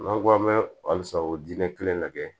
N'an ko an bɛ halisa o dinɛ kelen de